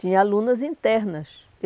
Tinha alunas internas.